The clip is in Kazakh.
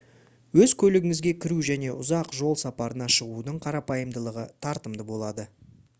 өз көлігіңізге кіру және ұзақ жол сапарына шығудың қарапайымдылығы тартымды болады